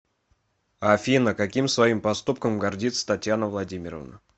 афина каким своим поступком гордится татьяна владимировна